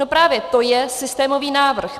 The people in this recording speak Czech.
No právě to je systémový návrh.